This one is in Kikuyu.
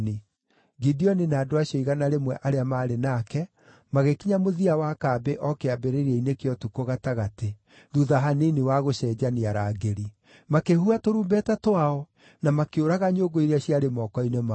Gideoni na andũ acio igana rĩmwe arĩa maarĩ nake magĩkinya mũthia wa kambĩ o kĩambĩrĩria-inĩ kĩa ũtukũ gatagatĩ, thuutha hanini wa gũcenjania arangĩri. Makĩhuha tũrumbeta twao na makĩũraga nyũngũ iria ciarĩ moko-inĩ mao.